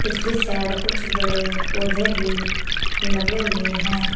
पिछली साइड कुछ बड़े पौधे भी लगे हुए हैं।